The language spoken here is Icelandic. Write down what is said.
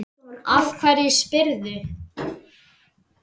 Af hverju spyrðu?